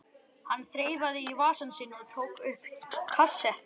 Hann þreifaði í vasann sinn og tók upp kassettu.